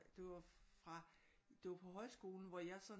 Det var fra det var på højskolen hvor jeg sådan